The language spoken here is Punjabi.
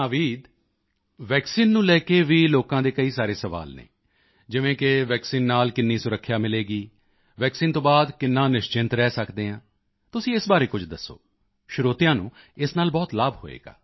ਨਾਵੀਦ ਵੈਕਸੀਨ ਨੂੰ ਲੈ ਕੇ ਵੀ ਲੋਕਾਂ ਦੇ ਕਈ ਸਾਰੇ ਸਵਾਲ ਹਨ ਜਿਵੇਂ ਕਿ ਵੈਕਸੀਨ ਨਾਲ ਕਿੰਨੀ ਸੁਰੱਖਿਆ ਮਿਲੇਗੀ ਵੈਕਸੀਨ ਤੋਂ ਬਾਅਦ ਕਿੰਨਾ ਨਿਸ਼ਚਿੰਤ ਰਹਿ ਸਕਦੇ ਹਾਂ ਤੁਸੀਂ ਇਸ ਬਾਰੇ ਕੁਝ ਦੱਸੋ ਸਰੋਤਿਆਂ ਨੂੰ ਇਸ ਨਾਲ ਬਹੁਤ ਲਾਭ ਹੋਵੇਗਾ